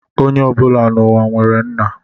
Onye ọbụla n'ụwa nwere nna